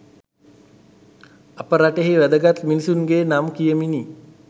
අප රටෙහි වැදගත් මිනිසුන්ගේ නම් කියමිනි.